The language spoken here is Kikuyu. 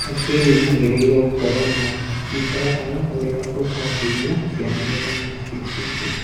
Otimu yagĩrĩrwe gũkorwa na programu ĩria ĩkobotithia ciana gũthoma cĩĩ iki